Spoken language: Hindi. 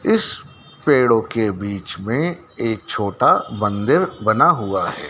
इस पेड़ों के बीच में एक छोटा मंदिर बना हुआ है।